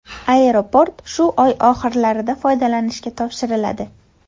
Aeroport shu oy oxirlarida foydalanishga topshiriladi.